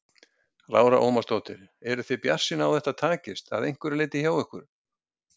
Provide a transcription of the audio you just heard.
Lára Ómarsdóttir: Eruð þið bjartsýn á að þetta takist, að einhverju leyti hjá ykkur?